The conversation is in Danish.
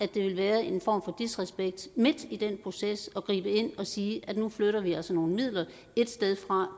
det vil være en form for disrespekt midt i den proces at gribe ind og sige at nu flytter vi altså nogle midler et sted fra